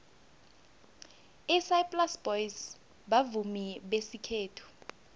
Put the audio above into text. isaplasi boys bavumi besikhethu